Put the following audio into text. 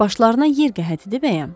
Başlarına yer gəhət edib əyəm.